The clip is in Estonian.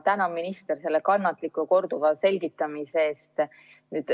Tänan ministrit kannatliku korduva selgitamise eest.